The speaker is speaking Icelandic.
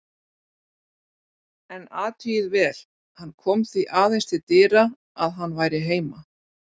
En athugið vel: Hann kom því aðeins til dyra að hann væri heima.